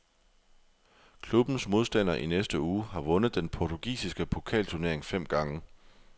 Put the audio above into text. Klubbens modstander i næste uge har vundet den portugisiske pokalturnering fem gange.